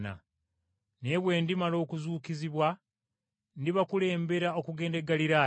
Naye bwe ndimala okuzuukizibwa ndibakulembera okugenda e Ggaliraaya.”